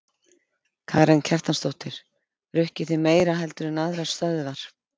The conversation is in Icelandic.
Karen Kjartansdóttir: Rukkið þið meira heldur en aðrar stöðvar?